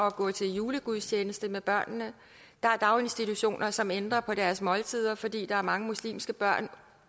at gå til julegudstjeneste med børnene der er daginstitutioner som ændrer på deres måltider fordi der er mange muslimske børn